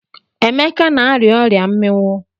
Emeka na-arịa ọria mmiwụ.